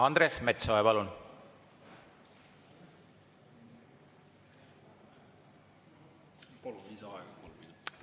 Andres Metsoja, palun!